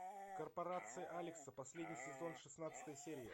корпорация алекса последний сезон шестнадцатая серия